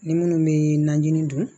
Ni minnu bɛ najini dun